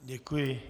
Děkuji.